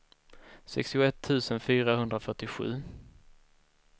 sextioett tusen fyrahundrafyrtiosju